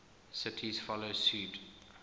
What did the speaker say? cities follow suit